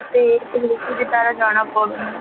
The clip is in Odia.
ତାର ଜଣା ପଡୁନି